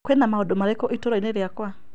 Kwĩna maũndũ marĩkũ itũra-inĩ rĩakwa ?